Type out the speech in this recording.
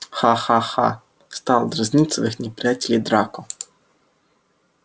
ха-ха-ха стал дразнить своих неприятелей драко